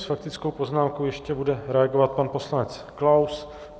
S faktickou poznámkou ještě bude reagovat pan poslanec Klaus.